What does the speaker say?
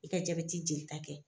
I ka jabɛti jelita kɛ